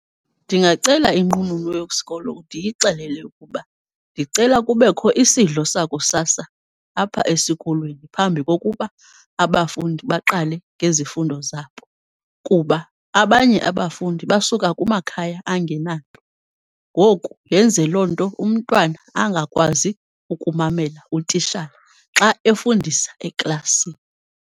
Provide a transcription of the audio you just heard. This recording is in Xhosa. Ndingacela inqununu yesikolo ndiyixelele ukuba ndicela kubekho isidlo sakusasa apha esikolweni, phambi kokuba abafundi baqale ngezifundo zabo kuba abanye abafundi basuka kumakhaya angenanto. Ngoku yenze loo nto umntwana angakwazi ukumamela utitshala xa efundisa eklasini.